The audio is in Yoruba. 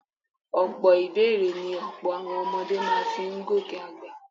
Ọ̀pọ̀ ìbẹ́èrè ni ọ̀pọ̀ àwọn ọmọdé máa fi ń gòkè àgbà